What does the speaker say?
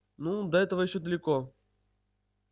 ну до этого ещё далеко